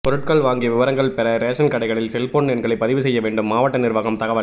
பொருட்கள் வாங்கிய விவரங்கள் பெற ரேஷன் கடைகளில் செல்போன் எண்களை பதிவு செய்ய வேண்டும் மாவட்ட நிர்வாகம் தகவல்